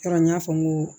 Kɛra n y'a fɔ n ko